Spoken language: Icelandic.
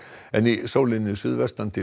en í sólinni suðvestan til